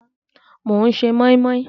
Mò ń ṣe mọ́í mọ́í